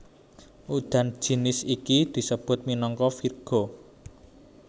Udan jinis iki disebut minangka virga